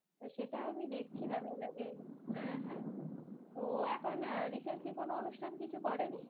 সেটাও আমি দেখছিলাম এর আগে, হ্যাঁ হ্যাঁ ও এখন আহ recently কোনো অনুষ্ঠান কিছু করেনি?